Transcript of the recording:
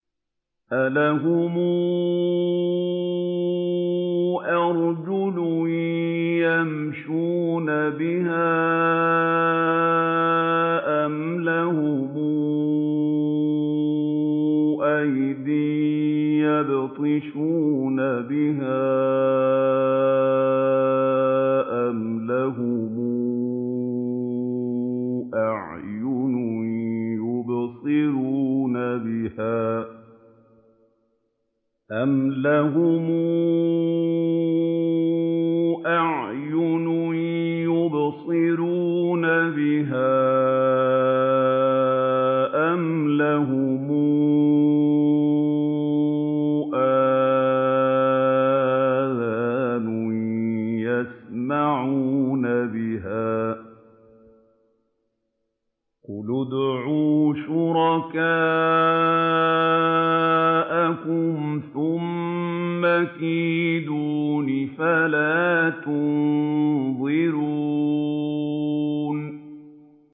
أَلَهُمْ أَرْجُلٌ يَمْشُونَ بِهَا ۖ أَمْ لَهُمْ أَيْدٍ يَبْطِشُونَ بِهَا ۖ أَمْ لَهُمْ أَعْيُنٌ يُبْصِرُونَ بِهَا ۖ أَمْ لَهُمْ آذَانٌ يَسْمَعُونَ بِهَا ۗ قُلِ ادْعُوا شُرَكَاءَكُمْ ثُمَّ كِيدُونِ فَلَا تُنظِرُونِ